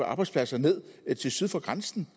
arbejdspladser ned syd syd for grænsen